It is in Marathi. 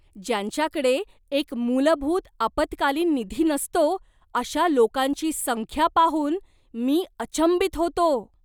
ज्यांच्याकडे एक मूलभूत आपत्कालीन निधी नसतो, अशा लोकांची संख्या पाहून मी अचंबित होतो.